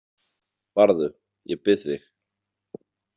Farðu, ég bið þig